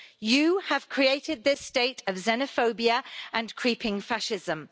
You have created this state of xenophobia and creeping fascism.